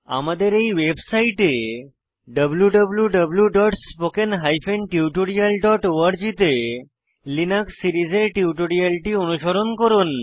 আমাদের এই ওয়েবসাইটে wwwspoken tutorialorg তে লিনাক্স সিরিজের টিউটোরিয়ালটি অনুসরণ করুন